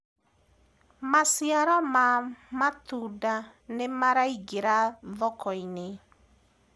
maciaro ma matunda nĩmaraingira thoko-inĩ